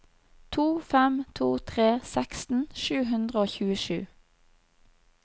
to fem to tre seksten sju hundre og tjuesju